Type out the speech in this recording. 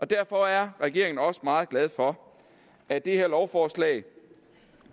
derfor er regeringen også meget glad for at det her lovforslag